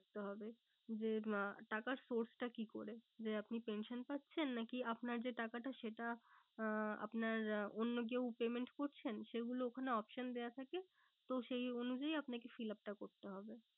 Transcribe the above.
থাকতে হবে। যে আহ টাকার sources টা কি করে? যে আপনি pension পাচ্ছেন নাকি আপনার যে টাকাটা সেটা আহ আপনার আহ অন্য কেউ payment করছেন সেগুলো ওখানে option দেওয়া থাকে। তো সেই অনুযায়ী আপনাকে fill up টা করতে হবে।